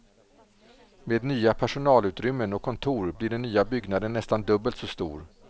Med nya personalutrymmen och kontor blir den nya byggnaden nästan dubbelt så stor.